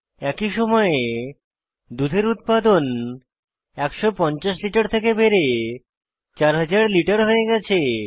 একই সময়ে দুধের উৎপাদন 150 লিটার থেকে বেড়ে 4000 লিটার হয়ে গেছে